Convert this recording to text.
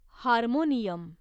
harmonium